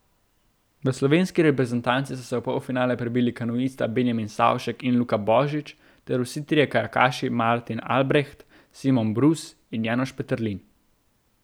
V slovenski reprezentanci so se v polfinale prebili kanuista Benjamin Savšek in Luka Božič ter vsi trije kajakaši Martin Albreht, Simon Brus in Janoš Peterlin.